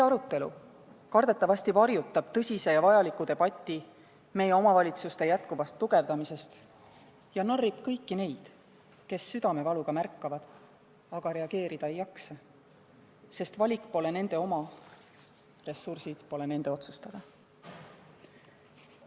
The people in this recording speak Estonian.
Kardetavasti varjutab see arutelu tõsise ja vajaliku debati meie omavalitsuste jätkuva tugevdamise üle ja narrib kõiki neid, kes südamevaluga märkavad, aga reageerida ei jaksa, sest valik pole nende teha ja ressursikasutus nende otsustada.